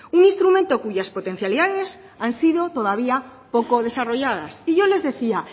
un instrumento cuyas potencialidades han sido todavía poco desarrolladas y yo les decía